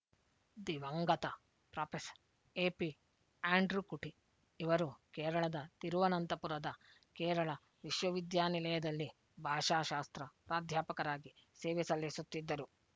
ದಿವಂಗತ professor A P Andrewkutty ಇವರು ಕೇರಳದ ತಿರುವನಂತಪುರದ ಕೇರಳ ವಿಶವವಿದ್ಯಾನಿಲಯದಲ್ಲಿ ಭಾಷಾಶಾಸ್ತ್ರ ಪ್ರಾಧ್ಯಾಪಕರಾಗಿ ಸೇವೆ ಸಲ್ಲಿಸುತ್ತಿದ್ದರು